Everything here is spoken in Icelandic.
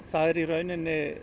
það er í rauninni